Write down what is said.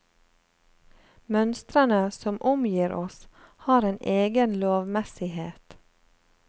Mønstrene som omgir oss har en egen lovmessighet.